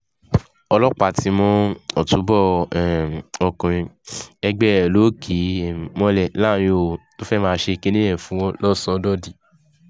ọlọ́pàá ti mú ọtúbọ̀ um ọkùnrin ẹgbẹ́ ẹ̀ lọ kì um mọ́lẹ̀ láàrin òru tó fẹ́ẹ́ máa ṣe kinní yẹn fún